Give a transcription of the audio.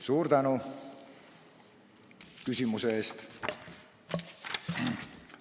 Suur tänu küsimuse eest!